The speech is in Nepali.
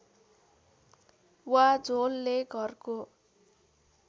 वा झोलले घरको